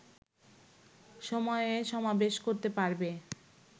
সময়ে সমাবেশ করতে পারবে